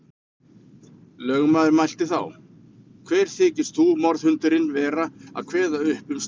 Lögmaður mælti þá: Hver þykist þú, morðhundurinn, vera að kveða upp um slíkt.